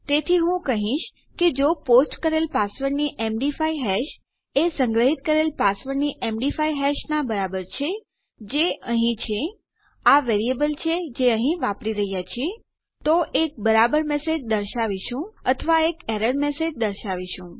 તેથી હું કહીશ કે જો પોસ્ટ કરેલ પાસવર્ડની એમડી5 હેશ એ સંગ્રહીત પાસવર્ડની એમડી5 હેશનાં બરાબર છે જે અહીં છે આ વેરીએબલ છે જે અહીં વાપરી રહ્યાં છીએ તો એક બરાબર મેસેજ દર્શાવીશું અથવા એક એરર મેસેજ દર્શાવીશું